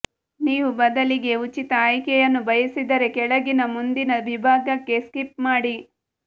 ನೀವು ಬದಲಿಗೆ ಉಚಿತ ಆಯ್ಕೆಯನ್ನು ಬಯಸಿದರೆ ಕೆಳಗಿನ ಮುಂದಿನ ವಿಭಾಗಕ್ಕೆ ಸ್ಕಿಪ್ ಮಾಡಿ